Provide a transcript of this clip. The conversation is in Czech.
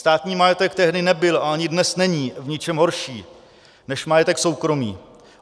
Státní majetek tehdy nebyl a ani dnes není v ničem horší než majetek soukromý.